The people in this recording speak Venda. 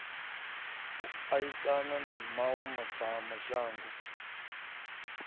u aisana na mawe madzhango